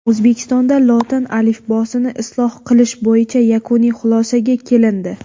O‘zbekistonda lotin alifbosini isloh qilish bo‘yicha yakuniy xulosaga kelindi.